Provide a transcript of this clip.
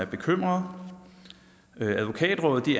bekymring advokatrådet